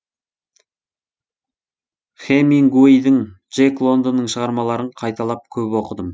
хэмингуейдің джек лондонның шығармаларын қайталап көп оқыдым